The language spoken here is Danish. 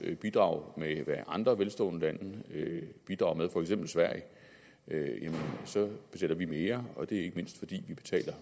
bidrag med andre velstående landes bidrag for eksempel sveriges så betaler vi mere og det er ikke mindst fordi vi betaler